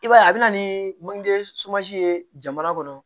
I b'a ye a bɛ na ni manje ye jamana kɔnɔ